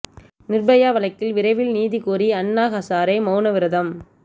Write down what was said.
நிா்பயா வழக்கில் விரைவில் நீதி கோரி அண்ணா ஹசாரே மௌன விரதம்